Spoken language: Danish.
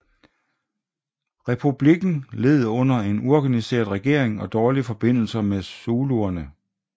Republikken led under en uorganiseret regering og dårlige forbindelser med zuluerne